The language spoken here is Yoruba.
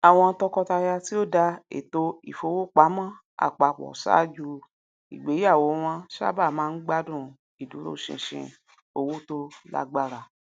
àwọn tọkọtaya tí ó dá ètò ìfowopamọ apapọ ṣáájú igbéyàwó wọn sábà máa ń gbádùn ìdúrósinsin owó tó lágbára